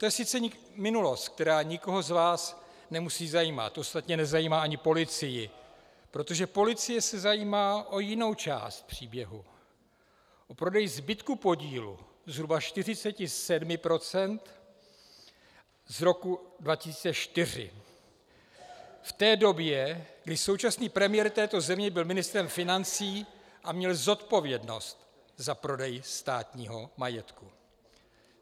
To je sice minulost, která nikoho z vás nemusí zajímat, ostatně nezajímá ani policii, protože policie se zajímá o jinou část příběhu, o prodej zbytku podílu, zhruba 47 % z roku 2004, v té době, kdy současný premiér této země byl ministrem financí a měl zodpovědnost za prodej státního majetku.